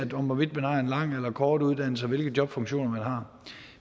hvorvidt man har en lang eller kort uddannelse og hvilke jobfunktioner man har